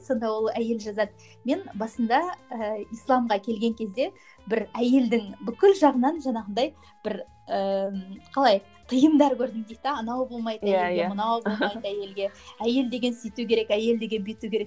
сонда ол әйел жазады мен басында ііі исламға келген кезде бір әйелдің бүкіл жағынан жаңағындай бір ііі қалай тиымдар көрдім дейді де анау болмайды әйелге мынау болмайды әйелге әйел деген сөйту керек әйел деген бүйту керек